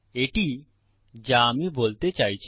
এটি যা আমি বলতে চাইছি